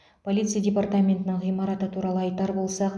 полиция департаментінің ғимараты туралы айтар болсақ